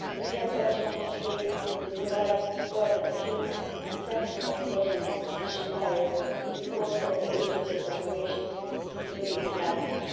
We have urged Member States to provide further human and technical resources as required in support of the agency's operations, including Hermes.